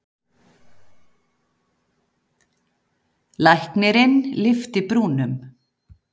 Læknirinn lyfti brúnum.